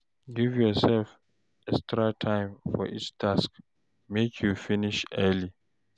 Give yourself extra time for each task, make you finish early.